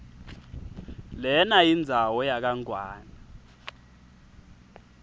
lenayindzawo yakangwane